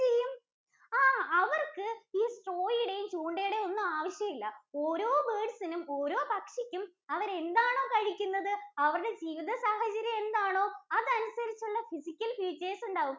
ആഹ് അവർക്ക് ഈ straw യുടെയും ചൂണ്ടയുടെയും ഒന്നും ആവശ്യമില്ല. ഓരോ birds നും, ഓരോ പക്ഷിക്കും അവർ എന്താണ് കഴിക്കുന്നത്, അവരുടെ ജീവിത സാഹചര്യം എന്താണോ? അതനുസരിച്ചുള്ള physical features ഉണ്ടാവും.